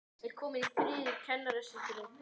Ekki sopið í kálið.